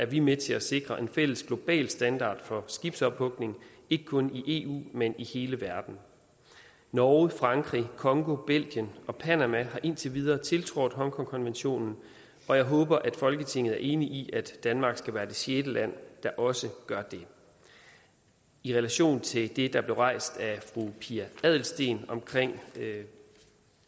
vi med til at sikre en fælles global standard for skibsophugning ikke kun i eu men i hele verden norge frankrig congo belgien og panama har indtil videre tiltrådt hongkongkonventionen og jeg håber at folketinget er enig i at danmark skal være det sjette land der også gør det i relation til det der blev rejst af fru pia adelsteen om